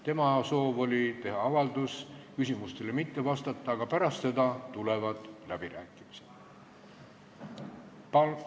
Tema soov oli teha avaldus ja küsimustele mitte vastata, aga pärast seda tulevad läbirääkimised.